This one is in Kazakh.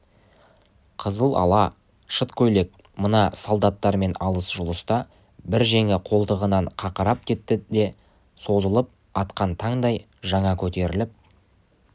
қызыл ала шыт көйлек мына солдаттармен алыс-жұлыста бір жеңі қолтығынан қақырап кетті де сызылып атқан таңдай жаңа көтеріліп